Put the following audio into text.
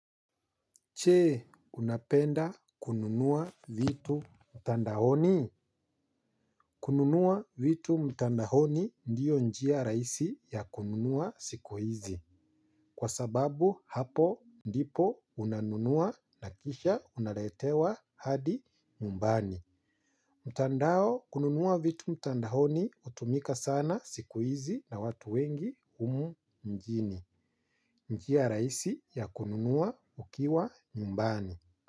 Je, unapenda kununua vitu mtandaoni? Kununua vitu mtandaoni ndio njia rahisi ya kununua siku hizi. Kwa sababu hapo ndipo unanunua na kisha unaletewa hadi nyumbani. Mtandao kununua vitu mtandaoni hutumika sana siku hizi na watu wengi humu mjini. Njia raisi ya kununua ukiwa mmbani.